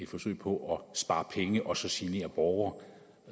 forsøg på at spare penge og så genere borgere